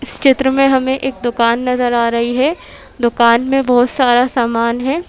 इस चित्र में हमें एक दुकान नज़र आ रही है दुकान में बहुत सारा सामान है।